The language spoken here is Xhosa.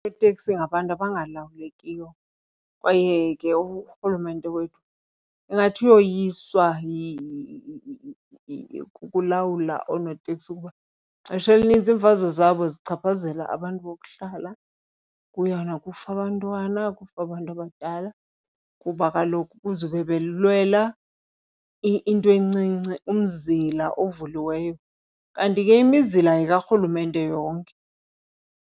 Oonoteksi ngabantu abangalawulekiyo kwaye ke urhulumente wethu ingathi uyoyiswa kukulawula oonoteksi kuba ixesha elinintsi iimfazwe zabo zichaphazela abantu bokuhlala. Kuyona kufa abantwana, kufa abantu abadala, kuba kaloku kuzube belwela into encinci umzila ovuliweyo, kanti ke imizila yekarhulumente yonke.